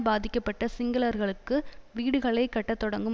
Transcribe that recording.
பாதிக்கப்பட்ட சிங்களர்களுக்கு வீடுகளை கட்டத் தொடங்கும்